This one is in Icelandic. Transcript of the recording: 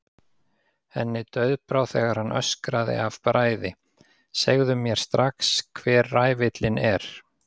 Henni dauðbrá þegar hann öskraði af bræði: Segðu mér strax hver ræfillinn er.